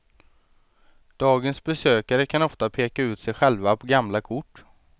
Dagens besökare kan ofta peka ut sig själva på gamla kort.